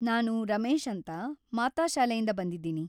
ನಾನು ರಮೇಶ್‌‌ ಅಂತ, ಮಾತಾ ಶಾಲೆಯಿಂದ ಬಂದಿದ್ದೀನಿ.